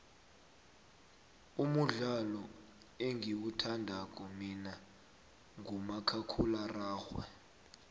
umudlalo engiwuthandako mina ngumakhakhulwararhwe